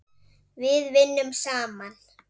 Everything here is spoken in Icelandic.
Við vinnum saman.